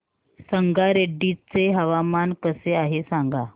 संगारेड्डी चे हवामान कसे आहे सांगा